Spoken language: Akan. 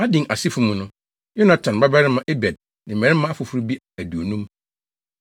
Adin asefo mu no: Yonatan babarima Ebed ne mmarima afoforo bi aduonum.